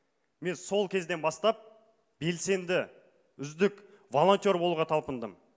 мен сол кезден бастап белсенді үздік волонтер болуға талпындым